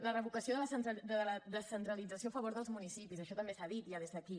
la revocació de la descentralització a favor dels municipis això també s’ha dit ja des d’aquí